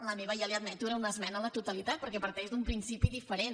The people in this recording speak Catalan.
la meva ja li ho admeto era una esmena a la totalitat perquè parteix d’un principi diferent